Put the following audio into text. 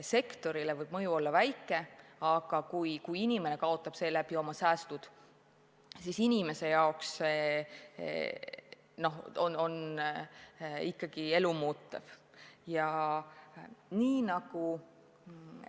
Sektorile võib mõju olla väike, aga kui inimene kaotab seeläbi oma säästud, siis see ikkagi muudab tema elu.